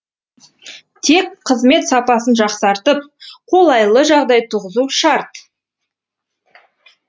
тек қызмет сапасын жақсартып қолайлы жағдай туғызу шарт